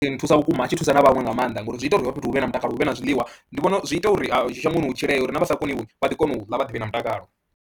Nthusa vhukuma a tshi thusa na vhaṅwe nga maanḓa ngori zwi ita uri hafha fhethu hu vhe na mutakalo hu vhe na zwiḽiwa, ndi vhona zwi ita uri shangoni hu tshilee uri na vha sa koniwi vha ḓi kona u ḽa vha ḓi vha na mutakalo.